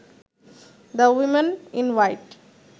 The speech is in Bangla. the woman in white